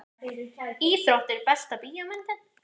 íþróttir Besta bíómyndin?